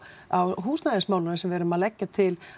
á húsnæðismálum þar sem við erum að leggja til